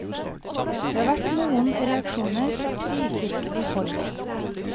Det har vært noen reaksjoner fra frikirkelig hold.